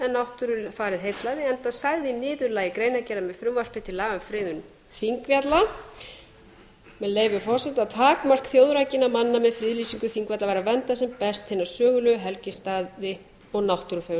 náttúrufarið heillaði enda sagði í niðurlagi greinargerðar með frumvarpi til laga um friðun þingvalla með leyfi forseta takmörk þjóðrækinna manna með friðlýsingu þingvalla var að vernda sem best hina sögulegu helgistaði og náttúrufar